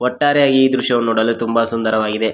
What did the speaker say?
ಒಟ್ಟಾರೆಯಾಗಿ ಈ ದೃಶ್ಯ ನೋಡಲು ತುಂಬ ಸುಂದರವಾಗಿದೆ.